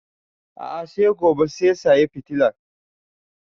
A'a sai gobe sai saya fitilan